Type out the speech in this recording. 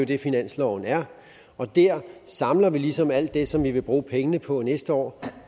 det finansloven er og der samler vi ligesom alt det som vi vil bruge pengene på næste år